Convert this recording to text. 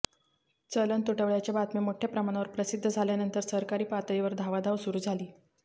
चलन तुटवड्याच्या बातम्या मोठ्या प्रमाणावर प्रसिद्ध झाल्यानंतर सरकारी पातळीवर धावाधाव सुरू झाली